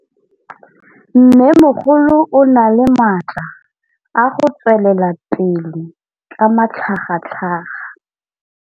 Mmêmogolo o na le matla a go tswelela pele ka matlhagatlhaga.